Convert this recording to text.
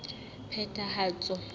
phethahatso